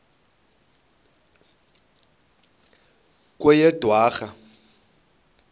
kweyedwarha